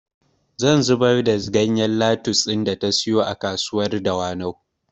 Zan zubar da ganyen lattus ɗin da ta siyo a kasuwar dawanau